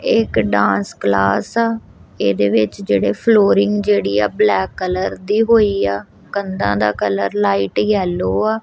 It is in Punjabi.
ਇਹ ਇੱਕ ਡਾਂਸ ਕਲਾਸ ਆ ਇਹਦੇ ਵਿੱਚ ਜਿਹੜੇ ਫਲੋਰਿੰਗ ਜਿਹੜੀ ਆ ਬਲੈਕ ਕਲਰ ਦੀ ਹੋਈ ਆ ਕੰਧਾਂ ਦਾ ਕਲਰ ਲਾਈਟ ਯੈਲੋ ਆ।